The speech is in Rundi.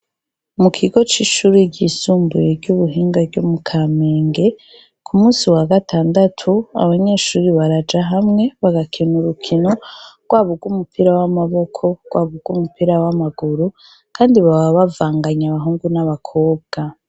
Mu kigo c'ishure ryisumbuye ry'ubuhinga ryo mu Kamenge, k'umunsi wa gatandatu, abanyeshure baraja hamwe bagakina urukino, rwaba urw'umupira w'amaboko, rwaba urw'umupira w'amaguru. Kandi baba bavanganye abahungu n'abakobwa.